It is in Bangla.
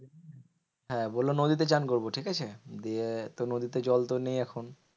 হ্যাঁ বললো নদীতে চান করবো ঠিকাছে? দিয়ে তো নদীতে জলতো নেই এখন।